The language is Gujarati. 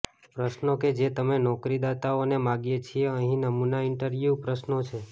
પ્રશ્નો કે જે તમે નોકરીદાતાઓને માગીએ છીએ અહીં નમૂના ઇન્ટરવ્યૂ પ્રશ્નો છે